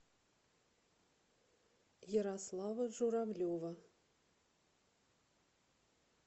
ярослава журавлева